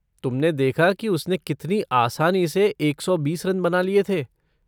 तुमने देखा कि उसने कितनी आसानी से एक सौ बीस रन बना लिये थे।